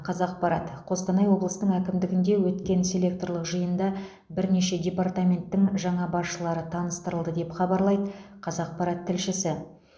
қазақпарат қостанай облысының әкімдігінде өткен селекторлық жиында бірнеше департаменттің жаңа басшылары таныстырылды деп хабарлайды қазақпарат тілшісі